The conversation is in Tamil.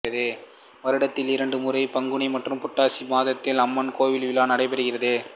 வருடத்திற்கு இரண்டு முறை பங்குனி மற்றும் புராட்டாசி மாதத்தில் அம்மன் கோவில் விழா நடைபெறுகிறது்